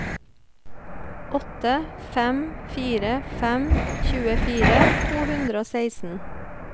åtte fem fire fem tjuefire to hundre og seksten